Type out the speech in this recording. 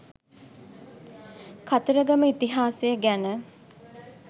කතරගම ඉතිහාසය ගැන